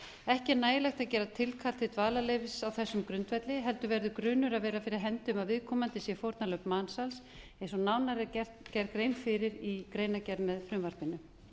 ekki er nægilegt að gera tilkall til dvalarleyfis á þessum grundvelli heldur verður grunur að vera fyrir hendi um að viðkomandi séu fórnarlömb mansals eins og nánar er gerð grein fyrir í greinargerð með frumvarpinu